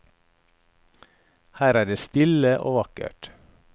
Her er det stille og vakkert.